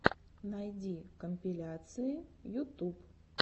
найди компиляции ютуб